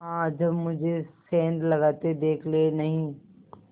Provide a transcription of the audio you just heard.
हाँ जब मुझे सेंध लगाते देख लेनहीं